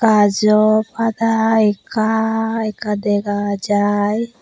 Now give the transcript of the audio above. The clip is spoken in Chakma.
bajo pada ekha ekha dega jai.